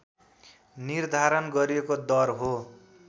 निर्धारण गरिएको दर हो